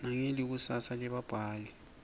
nangelikusasa lebabhali